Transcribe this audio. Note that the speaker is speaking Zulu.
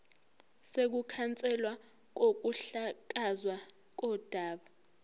sokukhanselwa kokuhlakazwa kodaba